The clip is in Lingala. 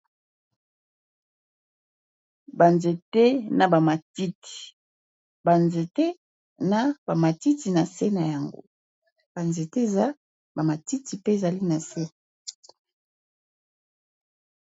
Ba nzete na ba matiti ba nzete na ba matiti na se na yango ba nzete eza ba matiti mpe ezali na se.